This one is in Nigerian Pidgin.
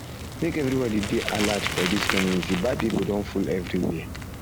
make everybody dey alert for dis community bad pipo don full everywhere